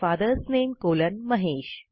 fathers नामे colon Mahesh